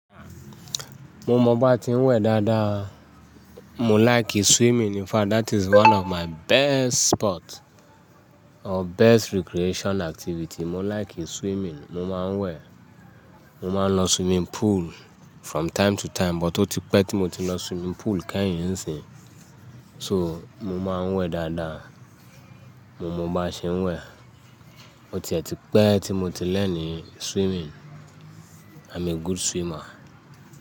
Mo mọ bá ti ń wẹ̀ dáadáa. Mo like swimming. In fact, that is one of my best sport or best recreation activity. Mo like swimming. Mo máa ń wẹ̀. Mo máa ń lọ swimming pool from time to time, but ó ti pẹ́ ti mo ti lọ swimming pool kẹ́hìn-hín nsìnyi. So mo máa ń wẹ̀ dáadáa. Mo mọ bá ṣe ń wẹ̀. Ó tiẹ́ ti pẹ́ ti mo ti learn swimming. I'm a good swimmer.